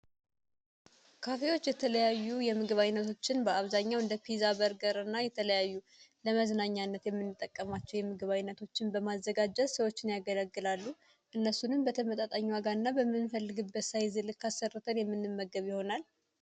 ካፌዎች የተለያዩ የምግብ ዓይነቶችን በአብዛኛው እንደ ፒዛ በርገርና የተለያዩ ለመዝናኛነት የምግብ ዓይነቶችን በማዘጋጀ ሰዎች ያገለግላሉ እነሱንም አጋንንት በምንፈልግበት አሰሩትን የምንመገብ ይሆናል